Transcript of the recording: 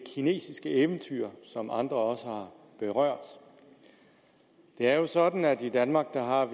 kinesiske eventyr som andre også har berørt det er jo sådan at vi i danmark har